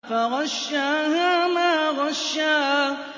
فَغَشَّاهَا مَا غَشَّىٰ